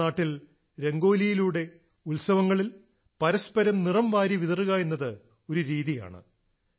നമ്മുടെ നാട്ടിൽ രംഗോലിയിലൂടെ ഉത്സവങ്ങളിൽ പരസ്പരം നിറം വാരിത്തേക്കുക എന്നത് ഒരു രീതിയാണ്